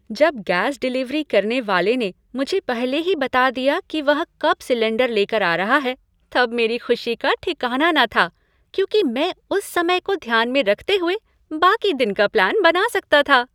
जब gas delivery करने वाले ने मुझे पहले ही बता दिया कि वह कब सिलेंडर लेकर आ रहा है तब मेरी खुशी का ठिकाना न था क्योंकि मैं उस समय को ध्यान में रखते हुए बाकी दिन का प्लान बना सकता था।